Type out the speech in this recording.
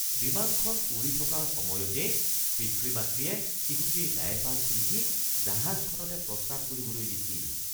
বিমানখন উৰি থকাৰ সময়তেই পিতৃ-মাতৃয়ে শিশুটিৰ ডায়েপাৰ খুলি দি জাহাজখনতে প্ৰস্ৰাৱ কৰিবলৈ দিছিল